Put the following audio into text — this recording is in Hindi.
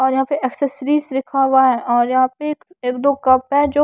और यहां पे एक्सेसरीज लिखा हुआ है और यहां पे एक दो कप है जो--